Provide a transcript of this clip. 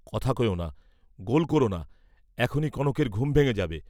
কথা কয়োনা, গোল কোরোনা, এখনি কনকের ঘুম ভেঙ্গে যাবে।